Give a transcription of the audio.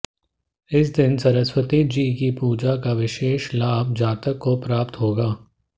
इस दिन सरस्वती जी की पूजा का विशेष लाभ जातक को प्राप्त होगा